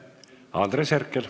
Andres Herkel.